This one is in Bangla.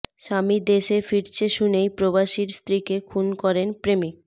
স্বামী দেশে ফিরছে শুনেই প্রবাসীর স্ত্রীকে খুন করেন প্রেমিক